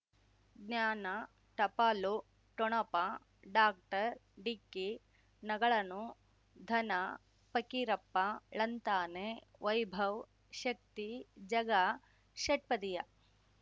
ಜ್ಞಾನ ಟಪಾಲು ಠೊಣಪ ಡಾಕ್ಟರ್ ಢಿಕ್ಕಿ ಣಗಳನು ಧನ ಫಕೀರಪ್ಪ ಳಂತಾನೆ ವೈಭವ್ ಶಕ್ತಿ ಝಗಾ ಷಟ್ಪದಿಯ